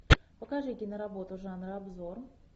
покажи киноработу жанра обзор